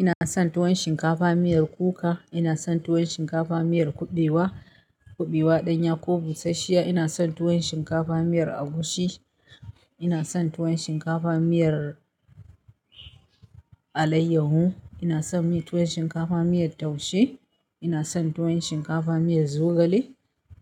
Ina son tuwon shinkafa miyar kuka, ina son tuwon shinkafa miyar kuɓewa, kuɓewa ɗanya ko busasshiya. Ina son tuwon shinkafa miyar agushi, ina son tuwon shinkafa miyar alayyahu, ina son yin tuwon shinkafa miyar taushe, ina son tuwon shinkafa miyar zogale,